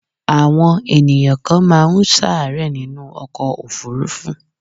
Àwọn ènìyàn kan ma n sàárẹ̀ nínú ọkọ̀ òfurufú